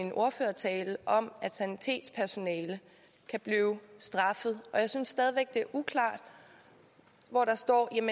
min ordførertale om at sanitetspersonale kan blive straffet og jeg synes stadig væk det er uklart hvor der står